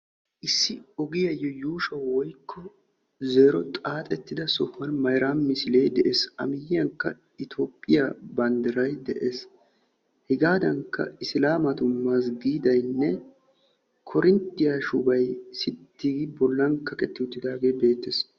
Issi ogiyaayo yuushsho woykko zero xaaxetidda sohuwaan mayrami misilee de'ees; hegadankka Isilaamatu mazggiidenne korinttiyaa shubay sitti gi bollan kaqqeti uttidaage beettees.